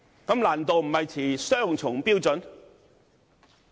這難度不是持雙重標準嗎？